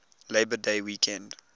labor day weekend